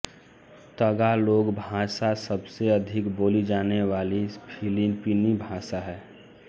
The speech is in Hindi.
तगालोग भाषा सबसे अधिक बोली जाने वाली फ़िलिपीनी भाषा है